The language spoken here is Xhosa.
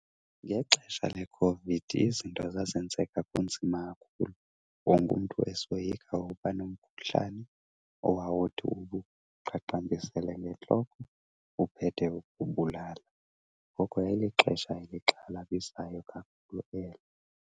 Ngexesha leCOVID izinto zazenzeka kunzima kakhulu, wonke umntu esoyika uba nomkhuhlane owawuthi ukuqaqambisele ngentloko uphethe ukubulala. Ngoko yayilixesha elixhalabisayo kakhulu elo.